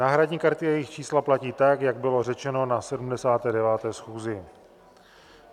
Náhradní karty a jejich čísla platí tak, jak bylo řečeno na 79. schůzi.